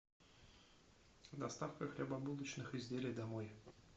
доставка хлебобулочных изделий домой